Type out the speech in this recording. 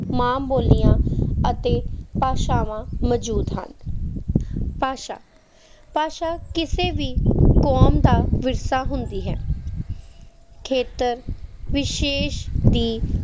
ਮਾਂ ਬੋਲੀਆਂ ਅਤੇ ਭਾਸ਼ਾਵਾਂ ਮੌਜੂਦ ਹਨ ਭਾਸ਼ਾ ਭਾਸ਼ਾ ਕਿਸੇ ਵੀ ਕੌਮ ਦਾ ਵਿਰਸਾ ਹੁੰਦੀ ਹੈ ਖੇਤਰ ਵਿਸ਼ੇਸ਼ ਦੀ